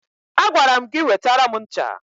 Agwara m gị wetara m ncha!